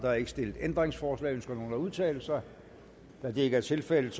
er ikke stillet ændringsforslag ønsker nogen at udtale sig da det ikke er tilfældet